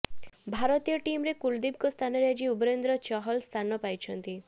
ଭାରତୀୟ ଟିମରେ କୁଲଦୀପଙ୍କ ସ୍ଥାନରେ ଆଜି ଯୁଜବେନ୍ଦ୍ର ଚହଲ ସ୍ଥାନ ପାଇଛନ୍ତି